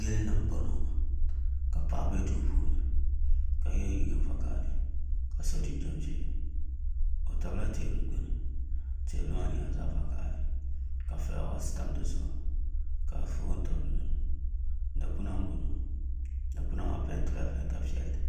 Yili ni n boŋo ka paɣa bɛ duu puuni ka yɛ liiga vakaɣali ka so jinjɛm ʒiɛ o tabila teebuli gbuni teebuli maa nyɛla zaɣ vakaɣali ka fulaawaasi tam di zuɣu ka foon tam di zuɣu dikpuna n boŋo dikpuna maa peentila peenta piɛlli